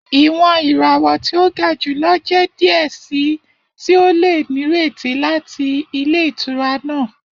Iwọn irawọ ti o ga julọ jẹ diẹ sii ti o le nireti lati ilé ìtura naa.